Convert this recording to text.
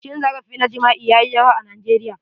Cin zarafi na jima'i yayi yawa a Nigeria.